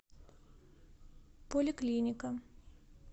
поликлиника